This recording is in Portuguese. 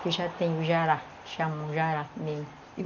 Que já tem o jará, que chamam jará mesmo.